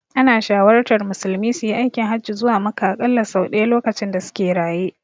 Ana shawartar musulmi suyi aikin hajji zuwa Makka aƙalla sau ɗaya lokacin da suke raye.